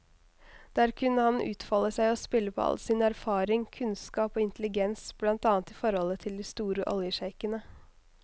Der kunne han utfolde seg og spille på all sin erfaring, kunnskap og intelligens, blant annet i forholdet til de store oljesjeikene.